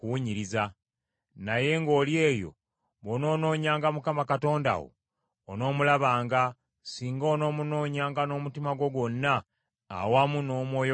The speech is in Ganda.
Naye ng’oli eyo, bw’onoonoonyanga Mukama Katonda wo, onoomulabanga, singa onoomunoonyanga n’omutima gwo gwonna awamu n’omwoyo gwo gwonna.